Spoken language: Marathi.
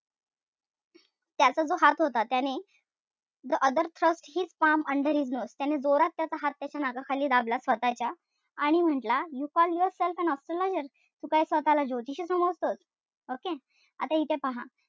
त्याचा जो हात होता त्याने the other thrust his palm under his nose त्याने जोरात त्याचा हात त्याच्या नाकाखाली दाबला स्वतःच्या. आणि म्हंटला you call yourself an astrologer? तू काय स्वतःला ज्योतिषी समजतोस? Okay? आता इथे पहा.